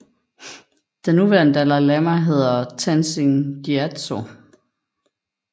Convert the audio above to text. Den nuværende Dalai Lama hedder Tenzin Gyatso